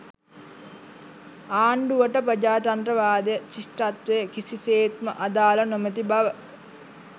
ආණ්ඩුවට ප්‍රජාතන්ත්‍රවාදය ශිෂ්ටත්වය කිසිසේත්ම අදාළ නොමැති බව